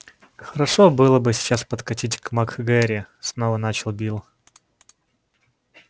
хорошо было бы сейчас подкатить к мак гэрри снова начал билл